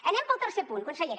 anem pel tercer punt consellera